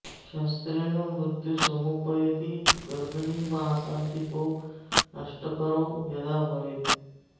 शस्त्रेण मृत्यु समुपैति गर्भिणी मासाधिपो नष्टकरो यदा वदेत्